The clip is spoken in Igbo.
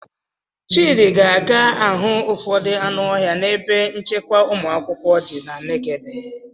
Chidi ga-aga ahụ ụfọdụ anụ ọhịa n'ebe nchekwa ụmụakwụkwọ dị na' Nekede.